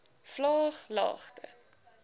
vlaaglagte